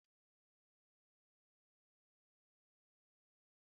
Achọrọ m ìsì ofe ose ị̀ndómị́